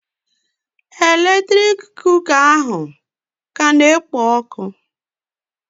Eletrik kuka ahụ ka na-ekpo ọkụ